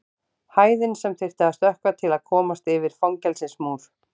Hæðin sem þyrfti að stökkva til að komast yfir fangelsismúr.